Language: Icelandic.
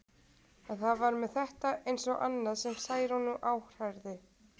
En það var með þetta eins og annað sem Særúnu áhrærði.